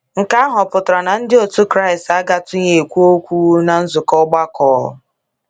Nke ahụ ọ̀ pụtara na ndi ọtụ Kraịst agatụghị ekwu okwu ná nzukọ ọgbakọ?